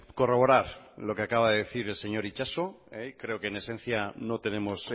corroborar lo que acaba de decir el señor itxaso creo que en esencia no tenemos